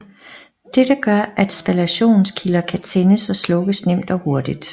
Det gør at spallationskilder kan tændes og slukkes nemt og hurtigt